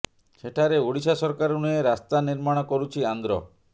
ସେଠାରେ ଓଡ଼ିଶା ସରକାର ନୁହେଁ ରାସ୍ତା ନିର୍ମାଣ କରୁଛି ଆନ୍ଧ୍ର